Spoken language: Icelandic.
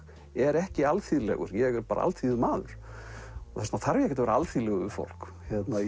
er ekki alþýðlegur ég er bara alþýðumaður og þess vegna þarf ég ekkert að vera alþýðlegur við fólk